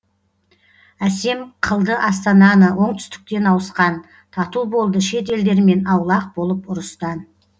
әсем қылды астананы оңтүстіктен ауысқан тату болды шет елдермен аулақ болып ұрыстан